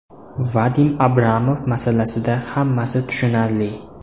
Vadim Abramov masalasida hammasi tushunarli.